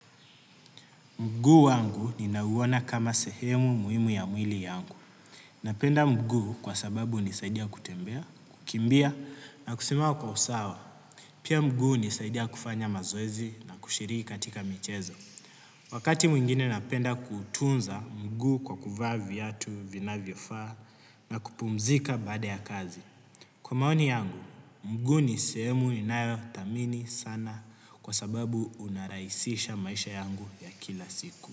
Mguu wangu ninauona kama sehemu muhimu ya mwili yangu. Napenda mguu kwa sababu hunisaidia kutembea, kukimbia na kusimama kwa usawa. Pia mguu hunisaidia kufanya mazoezi na kushiriki katika michezo. Wakati mwingine napenda kutunza mguu kwa kuvaa viatu vinavyofaa na kupumzika baada ya kazi. Kwa maoni yangu, mguu ni sehemu ninayothamini sana kwa sababu unarahisisha maisha yangu ya kila siku.